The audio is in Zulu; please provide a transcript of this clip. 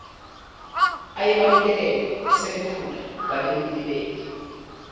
ayebanikelele sebakhula babemlibele